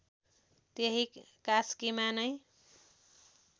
त्यही कास्कीमा नै